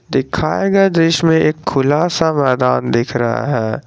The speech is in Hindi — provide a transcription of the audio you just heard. दिखाए गए दृश्य में एक खुला सा मैदान दिख रहा है।